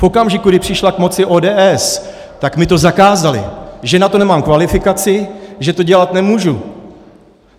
V okamžiku, kdy přišla k moci ODS, tak mi to zakázali, že na to nemám kvalifikaci, že to dělat nemůžu.